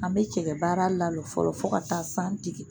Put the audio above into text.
An bɛ cɛgɛ baara lalɔ fɔlɔ fo ka taa san jigi